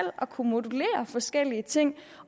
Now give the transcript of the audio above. kunne modellere forskellige ting